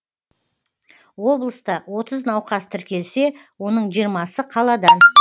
облыста отыз науқас тіркелсе оның жиырмасы қаладан